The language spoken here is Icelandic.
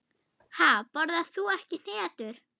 Ha, borðar þú ekki hnetur?